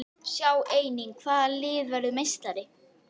Sjá einnig: Hvaða lið verður meistari?